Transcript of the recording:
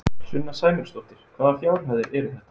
Sunna Sæmundsdóttir: Hvaða fjárhæðir eru þetta?